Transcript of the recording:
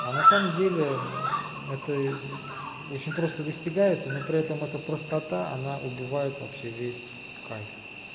а на самом деле это очень просто достигается но при этом это простота она убивает вообще весь кайф